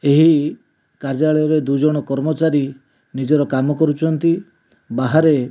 ଏହି କାର୍ଯ୍ୟାଳୟରେ ଦୁଇଜଣ କର୍ମଚାରି ନିଜର କାମ କରୁଚନ୍ତି ବାହାରେ --